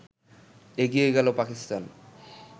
এগিয়ে গেল পাকিস্তান